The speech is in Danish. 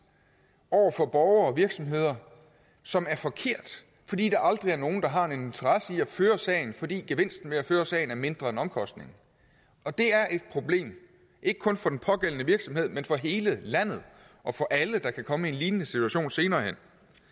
over for borgere og virksomheder som er forkert fordi der aldrig er nogen der har en interesse i at føre sagen fordi gevinsten ved at føre sagen er mindre end omkostningen og det er et problem ikke kun for den pågældende virksomhed men for hele landet og for alle der kan komme i en lignende situation senere hen